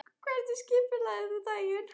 Hvernig skipuleggur þú daginn?